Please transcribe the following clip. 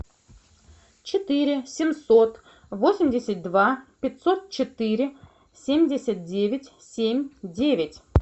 четыре семьсот восемьдесят два пятьсот четыре семьдесят девять семь девять